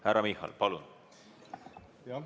Härra Michal, palun!